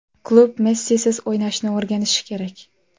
Klub Messisiz o‘ynashni o‘rganishi kerak.